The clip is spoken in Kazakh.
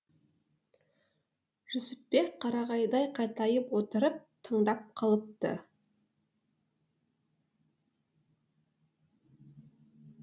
жүсіпбек қарағайдай қатайып отырып тыңдап қалыпты